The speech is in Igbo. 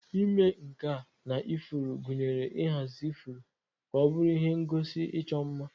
Ịme nka na ifuru gụnyere ịhazi ifuru ka ọ bụrụ ihe ngosi ịchọ mma.